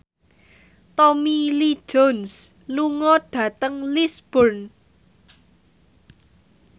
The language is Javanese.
Tommy Lee Jones lunga dhateng Lisburn